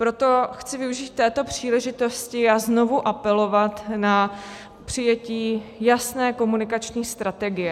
Proto chci využít této příležitosti a znovu apelovat na přijetí jasné komunikační strategie.